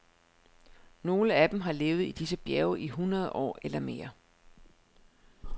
Nogle af dem har levet i disse bjerge i hundrede år eller mere.